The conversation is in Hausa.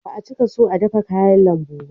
Ba a cika so a dafe kayan lambu ba